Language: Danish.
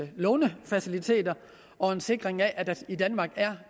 lånefaciliteter og en sikring af at der i danmark er